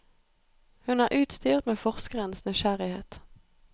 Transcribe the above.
Hun er utstyrt med forskerens nysgjerrighet.